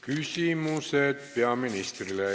Küsimused peaministrile.